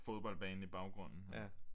Fodboldbane i baggrunden